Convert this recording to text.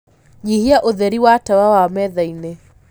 nyĩhĩa ũtherĩ wa tawa wa methaĩnĩ